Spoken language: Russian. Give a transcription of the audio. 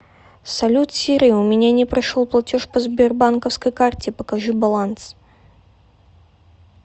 салют сири у меня не прошел платеж по сбербанковской карте покажи баланс